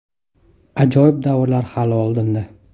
Ajoyib davrlar hali oldinda!